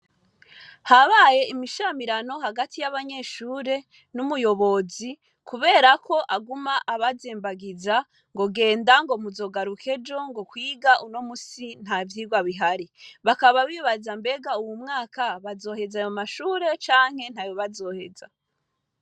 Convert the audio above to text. Habaye imishamirano hagati y'abanyeshure n'umuyobozi, kubera ko aguma abazembagiza ngo genda ngo muzogarukejo ngo kwiga uno musi nta vyirwa bihari bakaba bibaza mbega uwu mwaka bazoheza ayo mashure canke nta yo bazoheza.